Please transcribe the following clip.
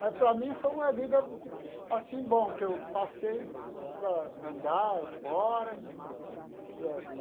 Mas para mim foi uma vida assim, bom, que eu passei para andar fora.